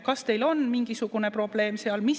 Kas teil on mingisugune probleem seal?